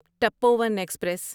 ٹپوؤں express